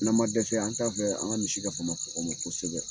N'an ma dɛsɛ an t'a fɛ an ka misi ka faama kɔgɔ ma kosɛbɛ.